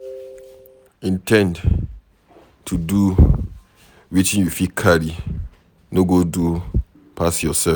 In ten d to do wetin you fit carry, no go do pass yourself